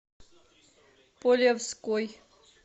полевской